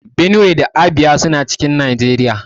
Benue da Abia suna cikin Nageriya